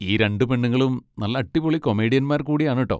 ഈ രണ്ട് പെണ്ണുങ്ങളും നല്ല അടിപൊളി കൊമേഡിയന്മാർ കൂടിയാണ് ട്ടോ.